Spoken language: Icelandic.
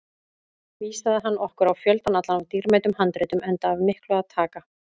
Vísaði hann okkur á fjöldann allan af dýrmætum handritum, enda af miklu að taka.